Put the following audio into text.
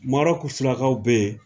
Marɔku surakaw be yen